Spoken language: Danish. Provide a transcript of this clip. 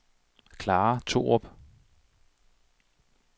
Klara Thorup